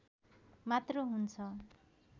मात्र हुन्छ